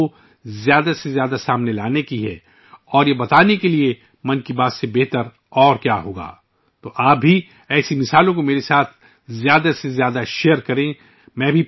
ایسی مثالوں کو زیادہ سے زیادہ سامنے لانے کی ضرورت ہے اور یہ بات بتانے کے لیے 'من کی بات' سے بہتر اور کیا ہو سکتا ہے؟ تو آپ بھی ، اس طرح کی مثالیں میرے ساتھ زیادہ سے زیادہ شیئر کریں